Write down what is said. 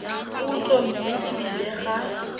puso mme e bile ga